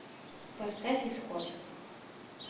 поставь исход